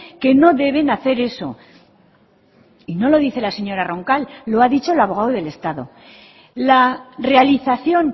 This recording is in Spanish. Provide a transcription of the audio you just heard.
que no deben hacer eso y no lo dice la señora roncal lo ha dicho el abogado del estado la realización